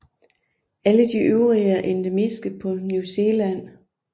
Alle de øvrige er endemiske på New Zealand